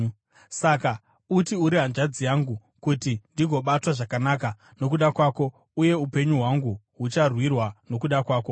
Saka uti uri hanzvadzi yangu, kuti ndigobatwa zvakanaka nokuda kwako uye upenyu hwangu hucharwirwa nokuda kwako.”